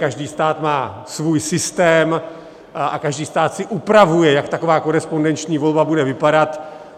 Každý stát má svůj systém a každý stát si upravuje, jak taková korespondenční volba bude vypadat.